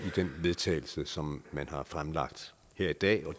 til vedtagelse som man har fremlagt her i dag og